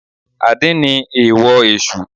Àdín ni èèwò Èsù